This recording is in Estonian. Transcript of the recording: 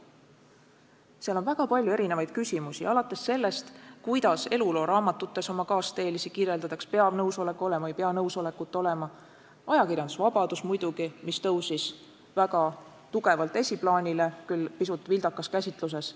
Seal on väga palju erinevaid küsimusi, alates sellest, kuidas elulooraamatutes oma kaasteelisi kirjeldatakse , ajakirjandusvabadus muidugi, mis tõusis väga tugevalt esiplaanile, küll pisut vildakas käsitluses.